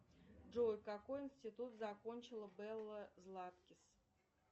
джой какой институт закончила белла златкис